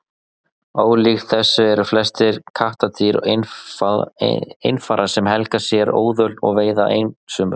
ólíkt þessu eru flest kattardýr einfarar sem helga sér óðöl og veiða einsömul